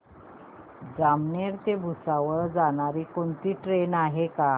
जामनेर ते भुसावळ जाणारी कोणती ट्रेन आहे का